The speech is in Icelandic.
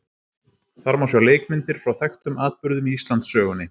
Þar má sjá leikmyndir frá þekktum atburðum í Íslandssögunni.